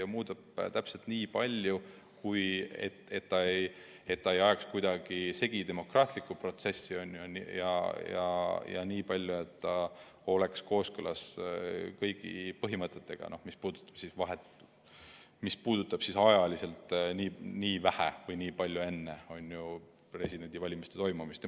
Aga muudab täpselt nii palju, et ei aetaks kuidagi segi demokraatlikku protsessi, ja nii palju, et see oleks kooskõlas kõigi põhimõtetega, mis puudutavad presidendivalimiste toimumiseni jäänud aega.